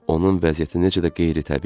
Onun vəziyyəti necə də qeyri-təbii idi?